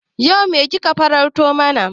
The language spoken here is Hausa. Yau me ka farauto mana?